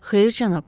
Xeyr, cənab.